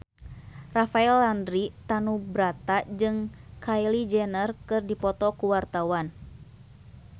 Rafael Landry Tanubrata jeung Kylie Jenner keur dipoto ku wartawan